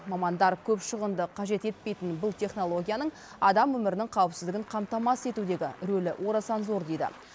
мамандар көп шығынды қажет етпейтін бұл технологияның адам өмірінің қауіпсіздігін қамтамасыз етудегі рөлі орасан зор дейді